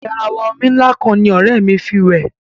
Garawa omi ńlá kan ní ọ̀rẹ́ mí fí wẹ̀.